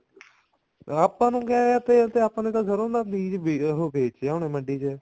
ਆਪਾਂ ਨੂੰ ਕੀ ਆ ਤੇਲ ਦਾ ਆਪਾਂ ਨੇ ਤਾਂ ਸਰੋਂ ਦਾ ਬੀਜ ਉਹ ਵੇਚ ਆਉਣਾ ਮੰਡੀ ਚ